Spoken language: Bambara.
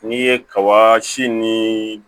N'i ye kaba si ni